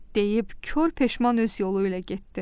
deyib kor peşman öz yolu ilə getdi.